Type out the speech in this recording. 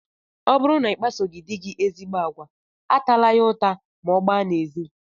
Ọ bụrụ na ị kpasoghị di gị ezigbo agwa, atala ya ụta ma ọ gbaa n'ezi!